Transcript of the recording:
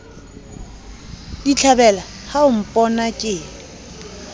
ditlhabela ha o mpona ke